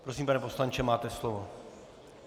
Prosím pane poslanče, máte slovo.